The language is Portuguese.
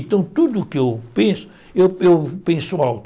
Então, tudo que eu penso, eu eu penso alto.